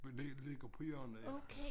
Det ligger på hjørnet ja